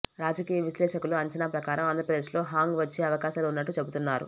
రాజకీయ విశ్లేషకుల అంచనా ప్రకారం ఆంధ్రప్రదేశ్లో హంగ్ వచ్చే అవకాశాలు ఉన్నట్లు చెబుతున్నారు